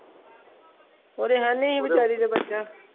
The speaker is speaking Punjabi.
ਉਹਦੇ ਹੈਨੀ ਸੀ ਬੇਚਾਰੀ ਦੇ ਬੱਚਾ